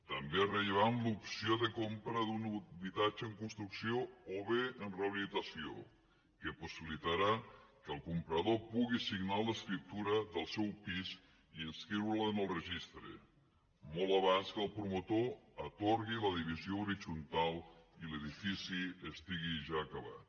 també és rellevant l’opció de compra d’un habitatge en construcció o bé en rehabilitació que possibilitarà que el comprador pugui signar l’escriptura del seu pis i inscriure’l en el registre molt abans que el promotor atorgui la divisió horitzontal i l’edifici estigui ja acabat